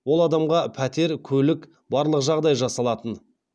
ол адамға пәтер көлік барлық жағдай жасалатын